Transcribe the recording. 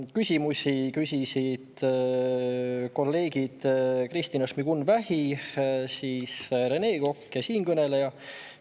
Küsimusi küsisid kolleegid Kristina Šmigun-Vähi ja Rene Kokk ning siinkõneleja.